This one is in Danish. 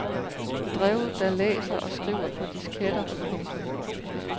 Drev der læser og skriver på disketter. punktum